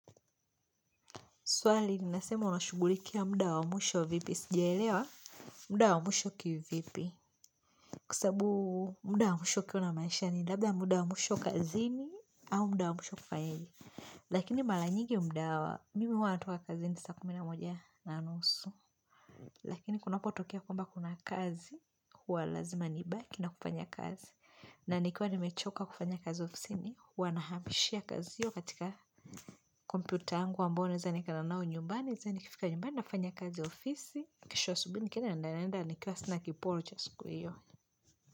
Swali ninasema unashugulikia muda wa mwisho vipi. Sijaelewa muda wa mwisho kivipi. Kwa sabu muda wa mwisho ukiwa una manisha ni labda muda wa mwisho kazini au muda wa mwisho kufanyejr Lakini malanyigi muda wa mimi huwa natoka kazini saa kumina moja na anusu. Lakini kunapotokea kwamba kuna kazi, huwa lazima niba kina kufanya kazi. Na nikiwa ni mechoka kufanya kazi ofisini, huwana hamishia kazio katika komputa yangu ambayo na zani kaenda nao nyumbani. Sa ni kifika nyumbani nafanya kazi ya ofisi kesho asubuhi ni kienda naenda Niki wasina kiporo chasiku iyo.